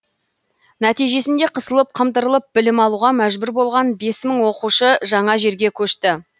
нәтижесінде қысылып қымтырылып білім алуға мәжбүр болған бес мың оқушы жаңа жерге көшті